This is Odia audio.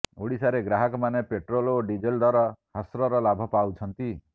ଓଡ଼ିଶାରେ ଗ୍ରାହକମାନେ ପେଟ୍ରୋଲ ଓ ଡିଜେଲ ଦର ହ୍ରାସର ଲାଭ ପାଉଛନ୍ତି